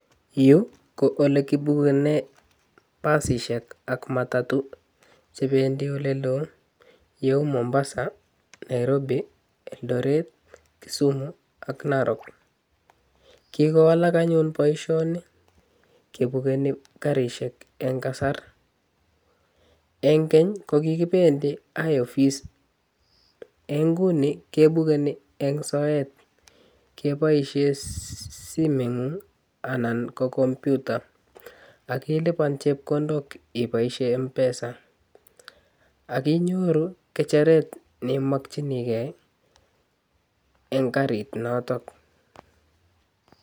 Yuu ko ole kibukenen basishek ak matatuu chebendii ole loo kou Mombara, Nairobi, Eldoret Kisumu ak Narok kokowalak anyun boishoni kebukeni karishek en kasar en keny kokikipendii high office en inguni kebugenii en soet keboishen simoit ngung anan ko komputer ak ilipan chekondok iboishen MPESA ak inyoruu ngecheret ne imokinii gee en karit noton.